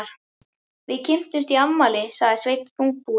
Við kynntumst í afmæli, sagði Sveinn þungbúinn.